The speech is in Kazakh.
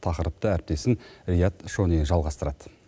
тақырыпты әріптесім рият шони жалғастырады